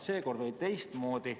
Seekord oli teistmoodi.